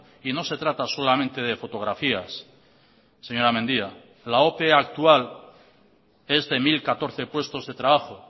y no se trata solamente de fotografías señora mendia la ope actual es de mil catorce puestos de trabajo